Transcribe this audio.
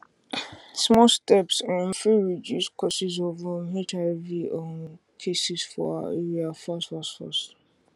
small steps um fit reduce causes of um hiv um cases for our area fast fast fast